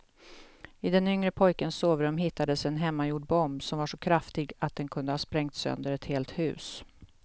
I den yngre pojkens sovrum hittades en hemmagjord bomb som var så kraftig att den kunde ha sprängt sönder ett helt hus.